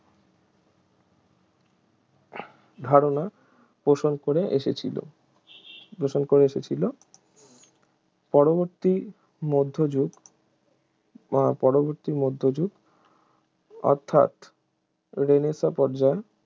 ধারণা পোষণ করে এসেছিল পোষণ করে এসেছিল পরবর্তী মধ্যযুগ পরবর্তী মধ্যযুগ অর্থাৎ রেনেসাঁ পর্যায়